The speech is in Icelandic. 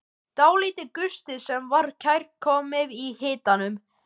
Dálítill gustur sem var kærkominn í hitanum.